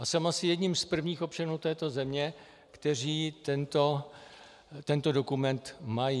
A jsem asi jedním z prvních občanů této země, kteří tento dokument mají.